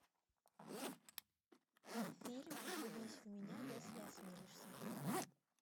фильм влюбись в меня если осмелишься